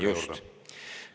Just!